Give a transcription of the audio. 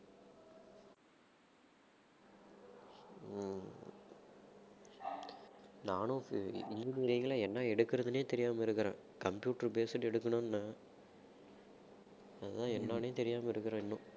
ஹம் நானும் என்ன எடுக்கிறதுனே தெரியாம இருக்கிறேன் computer based எடுக்கணும்னு அதான் என்னான்னே தெரியாம இருக்கிறேன் இன்னும்